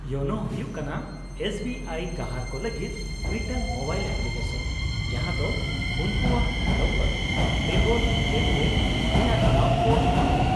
-ᱤᱭᱳᱱᱳ ᱦᱩᱭᱩᱜ ᱠᱟᱱᱟ S B I ᱜᱟᱦᱟᱨ ᱠᱚ ᱞᱟᱹᱜᱤᱫ ᱢᱤᱫᱴᱟᱝ ᱢᱳᱵᱟᱭᱤᱞ ᱮᱯᱞᱤᱠᱮᱥᱚᱱ, ᱡᱟᱦᱟᱸ ᱫᱚ ᱩᱱᱠᱩᱣᱟᱜ ᱞᱚᱜᱚᱫ ᱵᱮᱜᱚᱨ ᱞᱮᱱᱫᱮᱱ ᱨᱮᱭᱟᱜ ᱫᱟᱣ ᱠᱚ ᱮᱢᱟ ᱠᱚᱣᱟ ᱾